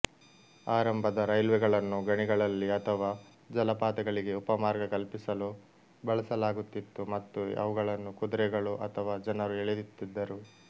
ಆರಂಭದ ರೈಲ್ವೆಗಳನ್ನು ಗಣಿಗಳಲ್ಲಿ ಅಥವಾ ಜಲಪಾತಗಳಿಗೆ ಉಪಮಾರ್ಗ ಕಲ್ಪಿಸಲು ಬಳಸಲಾಗುತ್ತಿತ್ತು ಮತ್ತು ಅವುಗಳನ್ನು ಕುದುರೆಗಳು ಅಥವಾ ಜನರು ಎಳೆಯುತ್ತಿದ್ದರು